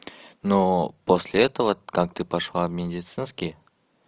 но после этого так ты пошла в медицинский